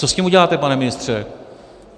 Co s tím uděláte, pane ministře?